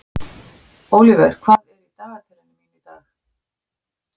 Ólíver, hvað er í dagatalinu mínu í dag?